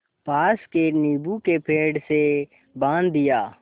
पास के नीबू के पेड़ से बाँध दिया